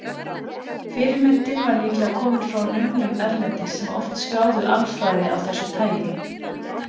Fyrirmyndin var líklega komin frá nunnum erlendis, sem oft skráðu alfræði af þessu tagi.